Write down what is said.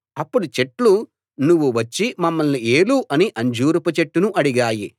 అప్పుడు చెట్లు నువ్వు వచ్చి మమ్మల్ని ఏలు అని అంజూరపు చెట్టును అడిగాయి